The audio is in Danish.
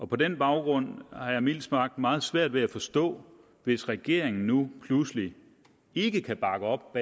på den baggrund har jeg mildt sagt meget svært ved at forstå hvis regeringen nu pludselig ikke kan bakke op